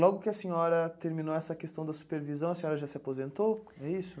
Logo que a senhora terminou essa questão da supervisão, a senhora já se aposentou? É isso?